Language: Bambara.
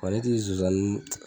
Wa ne tɛ zonzannin